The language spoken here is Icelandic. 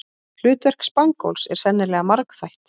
Hlutverk spangóls er sennilega margþætt.